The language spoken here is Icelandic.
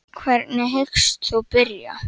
Hvernig hyggst þú byrja?